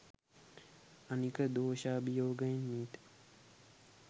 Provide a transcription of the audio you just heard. අනික දෝශාභියෝගයෙන් මීට